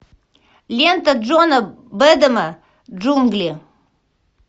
лента джона бэдэма джунгли